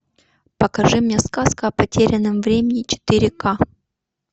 покажи мне сказка о потерянном времени четыре ка